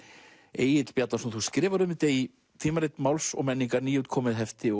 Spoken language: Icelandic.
Egill Bjarnason þú skrifar um þetta í Tímarit Máls og menningar nýútkomið hefti